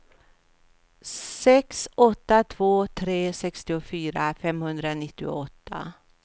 sex åtta två tre sextiofyra femhundranittioåtta